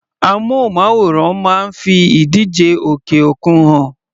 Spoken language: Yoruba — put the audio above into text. Amúnmáwòrán máa ń fi ìdíje òkè òkun hàn.